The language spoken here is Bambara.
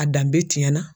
A danbe tiɲɛna